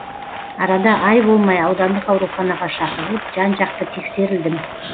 арада ай болмай аудандық ауруханаға шақырылып жан жақты тексерілдім